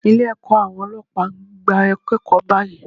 Ilé ẹ̀kọ́ àwọn Ọlọ́pàá ń gba akẹ́kọ̀ọ́ báyìí.